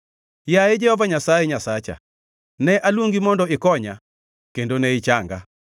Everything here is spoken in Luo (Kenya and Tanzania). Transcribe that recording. Yaye Jehova Nyasaye Nyasacha, ne aluongi mondo ikonya kendo ne ichanga.